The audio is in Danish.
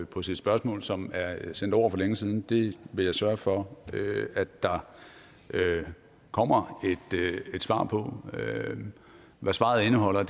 på sit spørgsmål som er sendt over for længe siden det vil jeg sørge for at der kommer et svar på hvad svaret indeholder